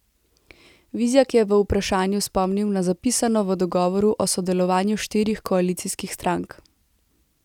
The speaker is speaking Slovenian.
Vizjak je v vprašanju spomnil na zapisano v dogovoru o sodelovanju štirih koalicijskih strank.